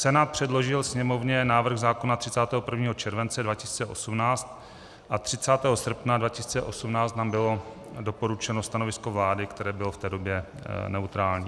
Senát přeložil Sněmovně návrh zákona 31. července 2018 a 30. srpna 2018 nám bylo doručeno stanovisko vlády, které bylo v té době neutrální.